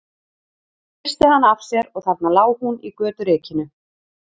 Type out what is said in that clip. Hann hristi hana af sér og þarna lá hún í göturykinu.